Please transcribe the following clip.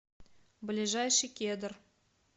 ближайший кедр